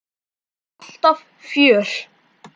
Alltaf fjör.